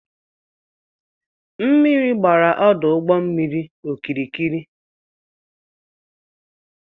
Mmiri gbara ọdụụgbọmmiri okirikiri